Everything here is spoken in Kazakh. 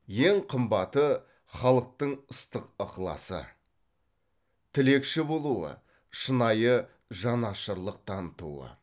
ең қымбаты халықтың ыстық ықыласы тілекші болуы шынайы жанашырлық танытуы